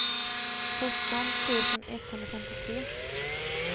sjutton tusen etthundrafemtiotre